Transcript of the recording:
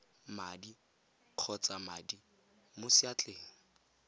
madi kgotsa madi mo seatleng